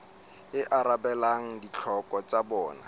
e arabelang ditlhoko tsa bona